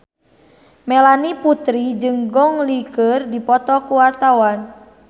Melanie Putri jeung Gong Li keur dipoto ku wartawan